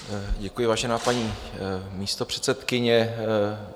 Děkuji, vážená paní místopředsedkyně.